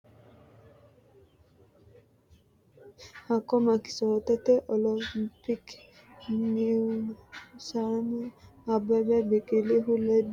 Hakko Mekiskote olompike heewisama- Abbebe Biqilihu ledo ha’rinohu Maammo Woldehu qeele Itophiyaho sayikki maaraatoonete culka haa’ri Hakko Mekiskote olompike heewisama-.